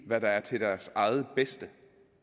hvad der er til deres eget bedste